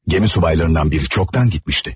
Gəmi subaylarından biri çoxdan gitmişti.